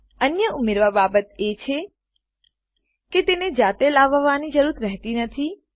અન્ય ઉમેરવા બાબત એ છે કે તેને જાતે લાવવાની જરૂર રહેતી નથી